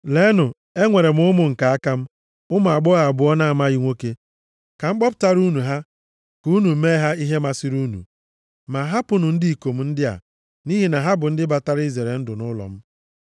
Leenụ, enwere m ụmụ nke aka m, ụmụ agbọghọ abụọ na-amaghị nwoke. Ka m kpọpụtara unu ha, ka unu mee ha ihe masịrị unu. Ma hapụnụ ndị ikom ndị a, nʼihi na ha bụ ndị batara izere ndụ nʼụlọ m.”